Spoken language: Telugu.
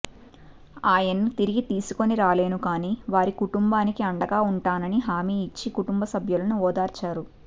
ఆయన్ని తిరిగి తీసుకొని రాలేను కానీ వారి కుటుంబానికి అండగా ఉంటానని హామీ ఇచ్చి కుటుంబ సభ్యులును ఓదార్చారు